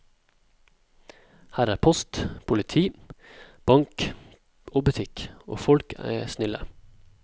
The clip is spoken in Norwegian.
Her er post, politi, bank og butikk, og folk er snille.